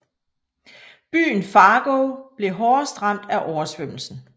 Byen Fargo blev hårdest ramt af oversvømmelsen